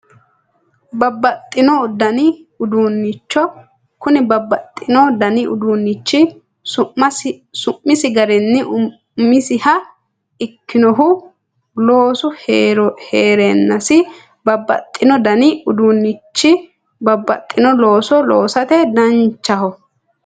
Babbaxxino dani uduunnicho kuni babbaxxino dani uduunnichi su'misi garinni umisiha ikkinohu loosu heerannosi babbaxxino dani uduunnichi babbaxxino looso loosate danchaho